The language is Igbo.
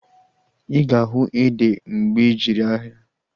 Ịga ahu ede mgbe ijere ahịa